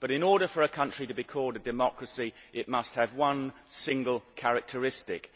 But in order for a country to be called a democracy, it must have one single characteristic